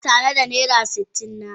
Yana tare da naira sitin na.